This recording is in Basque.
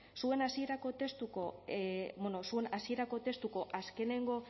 zuen hasierako testuko bueno zuen hasierako testuko azkenengo